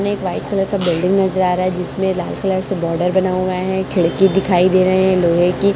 इसमें white colour का building नजर आ रहा है जिसमें लाल कलर से बॉर्डर बना हुआ है खिड़की दिखाई दे रहे है लोहे की--